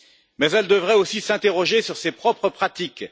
Mais elle devrait aussi s'interroger sur ses propres pratiques.